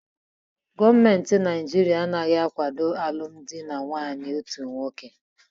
Gọọmenti Naijiria anaghị akwado alụmdi na nwunye otu nwoke